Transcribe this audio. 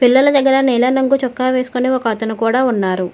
పిల్లల దగ్గర నీలం రంగు చొక్కా వేసుకుని ఒకఅతను కూడా ఉన్నారు.